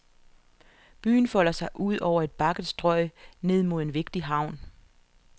Byen folder sig ud over et bakket strøg ned mod en vigtig havn.